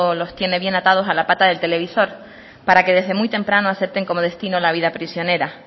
los tiene bien atados a la pata del televisor para que desde muy temprano acepten como destino la vida prisionera